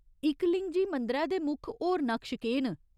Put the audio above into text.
इकलिंगजी मंदरै दे मुक्ख होर नकश केह् न?